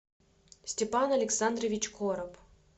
степан александрович короб